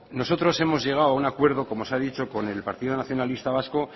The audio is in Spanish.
nosotros hemos llegado a un acuerdo como se ha dicho con el partido nacionalista vasco